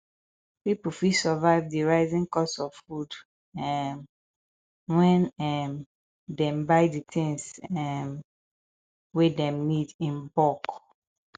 pipo fit survive di rising cost of food um when um dem buy di things um wey dem need in bulk